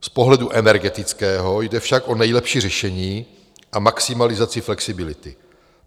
Z pohledu energetického jde však o nejlepší řešení a maximalizaci flexibility.